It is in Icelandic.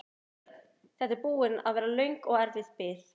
Björn: Þetta er búin að vera löng og erfið bið?